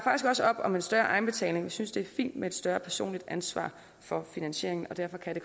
også op om en større egenbetaling vi synes det er fint med et større personligt ansvar for finansieringen derfor kan det